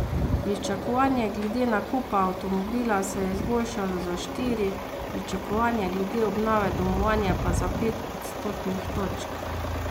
Pričakovanje glede nakupa avtomobila se je izboljšalo za štiri, pričakovanje glede obnove domovanja pa za pet odstotnih točk.